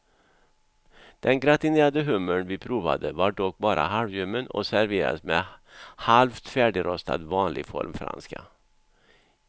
Den gratinerade hummer vi prövade var dock bara halvljummen och serverades med halvt färdigrostad vanlig formfranska.